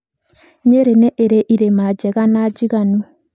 Nyeri nĩ ĩrĩ irĩma njega na njiganu.